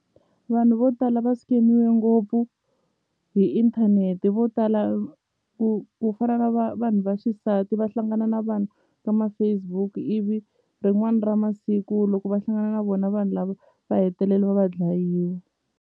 Vanhu vo tala va scam-iwe ngopfu hi inthanete vo tala ku ku fana na vanhu va xisati va hlangana na vanhu ka ma-Facebook ivi rin'wani ra masiku loko va hlangana na vona vanhu lava va hetelele va va dlayini.